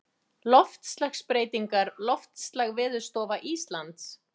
Loftslagsbreytingar Loftslag Veðurstofa Íslands.